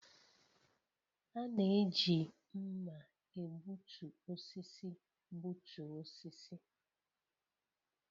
A na-eji mma egbutu osisi gbutuo osisi